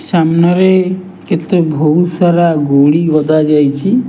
ସାମ୍ନାରେ କେତେ ବହୁତ ସାରା ଗୋଡି ଗଦା ଯାଇଚି।